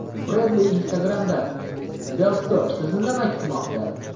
Breadly Instagram’da Bellstore Sizni nima kutmoqda?